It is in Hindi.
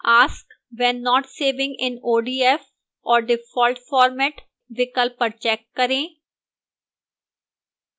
ask when not saving in odf or default format विकल्प पर check करें